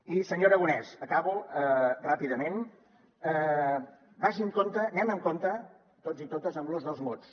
i senyor aragonès acabo ràpidament vagi amb compte anem amb compte tots i totes amb l’ús dels mots